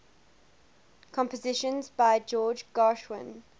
compositions by george gershwin